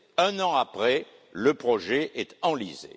Un an après, le projet est enlisé.